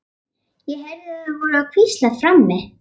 Ég heyrði að þau voru að hvíslast á frammi.